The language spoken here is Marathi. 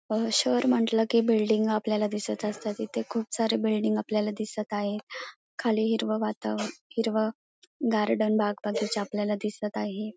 शहर म्हंटल की बिल्डिंग आपल्याला दिसत असतात इथे खूप सारे बिल्डिंग आपल्याला दिसत आहे खाली हिरव वाताव हिरव गार्डन बाग बगीचा आपल्याला दिसत आहे.